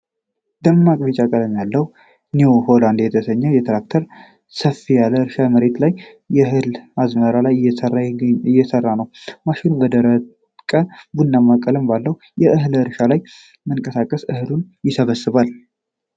ደማቅ ቢጫ ቀለም ያለው "ኒው ሆላንድ" የተሰኘው ትራክተር ሰፋ ያለ የእርሻ መሬት ላይ በእህል አዝመራ ላይ እየሰራ ነው። ማሽኑ በደረቀ፣ ቡናማ ቀለም ባለው የእህል እርሻ ላይ በመንቀሳቀስ እህሉን ይሰበስባል።